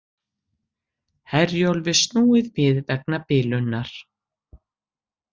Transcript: Herjólfi snúið við vegna bilunar